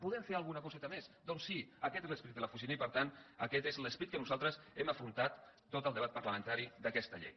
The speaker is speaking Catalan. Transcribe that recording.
podem fer alguna coseta més doncs sí aquest és l’esperit de l’oficina i per tant aquest és l’esperit que nosaltres hem afrontat tot el debat parlamentari d’aquesta llei